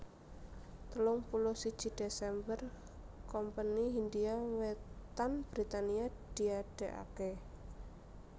Telung puluh siji Desember Kompeni Hindia Wetan Britania diadegaké